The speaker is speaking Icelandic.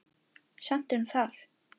Samt er hún þar.